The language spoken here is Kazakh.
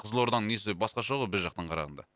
қызылорданың несі басқаша ғой біз жақтан қарағанда